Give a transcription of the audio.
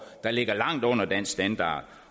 der ligger langt under dansk standard